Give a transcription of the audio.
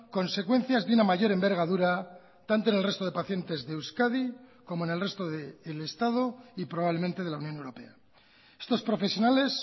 consecuencias de una mayor envergadura tanto en el resto de pacientes de euskadi como en el resto del estado y probablemente de la unión europea estos profesionales